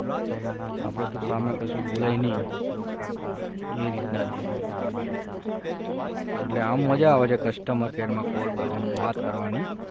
આપણે તો સામે કશું બોલાય નહીં એ રીતના જ એટલે આમ મજા આવે છે customer care માં call કરવાની એમ વાત કરવાની